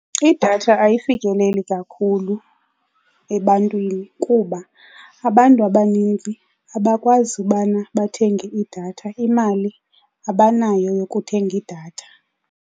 Idatha ayifikeleli kakhulu ebantwini kuba abantu abaninzi abakwazi ubana bathenge idatha, imali abanayo yokuthenga idatha.